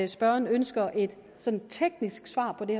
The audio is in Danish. spørgeren ønsker et sådant teknisk svar på det